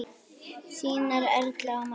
Þínar Erla og María.